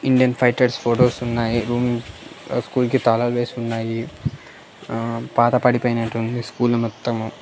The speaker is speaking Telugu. ఇండియన్ ఫైటర్స్ ఫోటోస్ ఉన్నాయి రూమ్ స్కూల్ కి తాళాలు వేసి ఉన్నాయి ఆహా పాత పడిపోయినట్టుంది స్కూల్ మొత్తం.